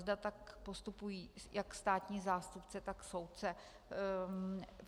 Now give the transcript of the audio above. Zda tak postupují jak státní zástupce, tak soudce.